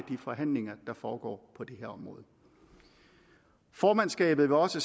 forhandlinger der foregår på det her område formandskabet vil også